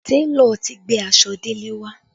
Télọ̀ ti gbé aṣọ Dele wá